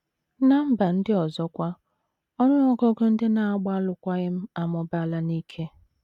Ná mba ndị ọzọ kwa, ọnụ ọgụgụ ndị na - agba alụkwaghịm amụbaala n’ike.